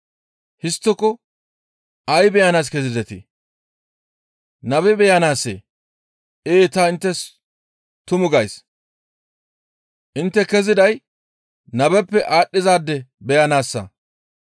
Histtiko ay beyanaas kezidetii? Nabe beyanaassee? Ee ta inttes tuma gays; intte keziday nabeppe aadhdhizaade beyanaassa.